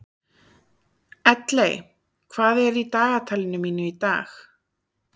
Elley, hvað er í dagatalinu mínu í dag?